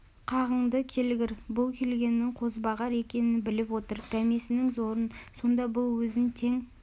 қағынды келгір бұл келгеннің қозбағар екенін біліп отыр дәмесінің зорын сонда бұл өзін тең